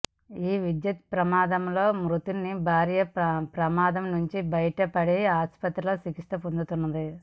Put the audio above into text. ఈ విద్యుత్ ప్రమాదంలో మృతుని భార్య ప్రమాదం నుంచి బయట పడి ఆసుపత్రిలో చికిత్స పొందుతున్నది